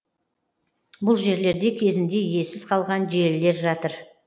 бұл жерлерде кезінде иесіз қалған желілер жатыр